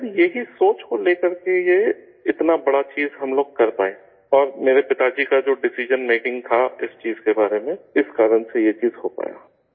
شاید یہی سوچ کو لے کر کے یہ اتنی بڑی چیز ہم لوگ کر پائے، اور میرے والد صاحب کا جو ڈسیزن میکنگ تھا اس چیز کے بارے میں، اس وجہ سے یہ چیز ہو پائی